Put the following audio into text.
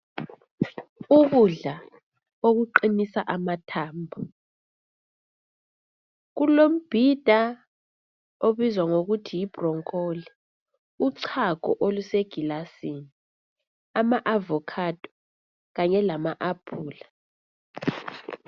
Ukudla okuqinisa amathambo. kulombhinda okubizwa ukuthi yibhuronkoli, uchago olusegilasini, ama avokhado kanye lama aphula.